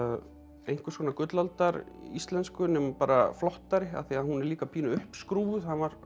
einhvers konar gullaldaríslensku nema bara flottari af því hún er líka pínu uppskrúfuð hann var